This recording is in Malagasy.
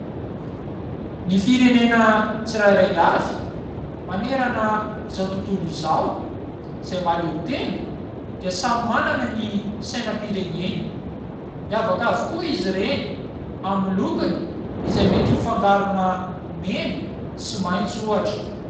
Ny firenena tsirairay avy manerana izao tontolo izao izay mahaleo tena dia samy manana ny sainam-pireneny. Miavaka avokoa izy ireny amin'ny lokony, izay mety ho fangarona mena sy maintso ohatra.